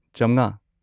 ꯆꯝꯉꯥ